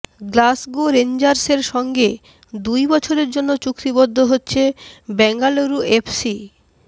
Glasgow রেঞ্জার্সের সঙ্গে দুই বছরের জন্য চুক্তিবদ্ধ হচ্ছে বেঙ্গালুরু এফসি